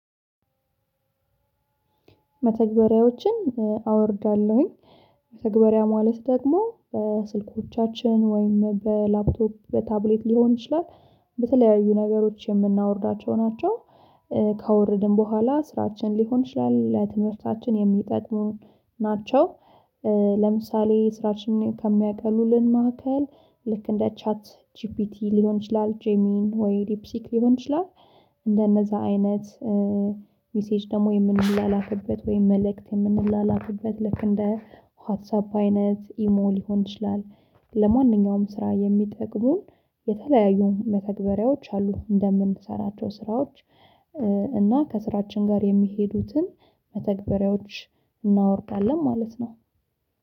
መተግበሪያዎችን አወርዳለሁኝ። መተግበሪያ ማለት ደግሞ በስልኮቻችን ወይም በላፕቶፕ በታብሌት ሊሆን ይችላል በተለያዩ ነገሮች የምናወርዳቸው ናቸው። ካወረድን በኋላ ለስራችን ሊሆን ይችላል ለትምህርታችን የሚጠቅሙን ናቸው። ለምሳሌ ስራሽን ከሚያቀሉልን መካከል ልክ እንደ ቻት ጂፒቲ ሊሆን ይችላል ጄሚናይ ሆይ ሊፕሲክ ሊሆን ይችላል። እንደነዛ አይነት ሚሴጅ ደግሞ የምንላላክበት ወይም መልእክት የምንላላክበት ልክ እንደ ዋትሳፕ አይነት ኢሞ ሊሆን ይችላል። ለማንኛውም ስራ የሚጠቅሙን የተለያዩ መተግበሪያዎች አሉ እንደምንሰራቸው ስራዎች። እና ከስራችን ጋር የሚሄዱትን መተግበሪያዎች እናወርዳለን ማለት ነው።